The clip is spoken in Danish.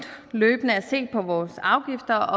løbende at se på vores afgifter